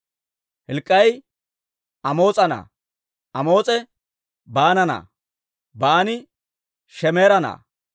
Hilk'k'ii Amoos'a na'aa; Amoos'i Baana na'aa; Baani Shemeera na'aa;